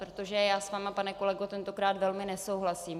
Protože já s vámi, pane kolego, tentokrát velmi nesouhlasím.